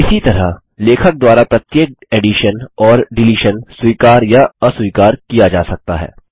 इसी तरह लेखक द्वारा प्रत्येक एडिशन और डिलीशन स्वीकार या अस्वीकार किया जा सकता है